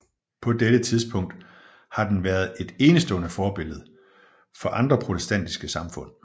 På dette punkt har den været et enestående forbillede for andre protestantiske samfund